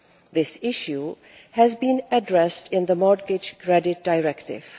This issue has been addressed in the Mortgage Credit Directive.